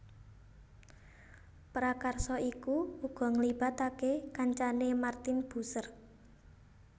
Prakarsa iku uga nglibatake kancane Martin Bucer